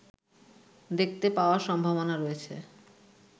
দেখতে পাওয়ার সম্ভাবনা রয়েছে